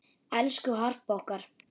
Elsku Harpa okkar.